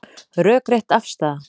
Rökrétt afstaða